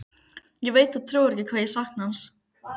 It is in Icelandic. Ég veit þú trúir ekki hvað ég sakna hans.